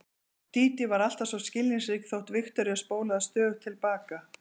Dídí var alltaf svo skilningsrík þótt Viktoría spólaði stöðugt til baka.